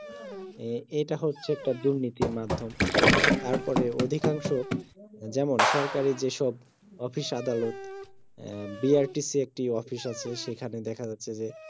হম এটা হচ্ছে একটা দুর্নীতির মাধ্যম তারপরে অধিকাংশ যেমন সরকারি যেসব অফিস আদালত হম বিআরটিসি একটি অফিস আছে সেখানে দেখা যাচ্ছে যে